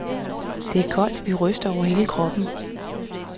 Det var koldt, vi rystede over hele kroppen.